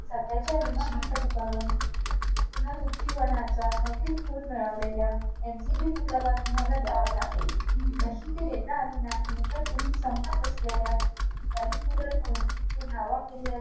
त्याला जेंव्हा Job available हवा असतो तो शिकवले जातो burger कशाप्रकारे बनवलं जात.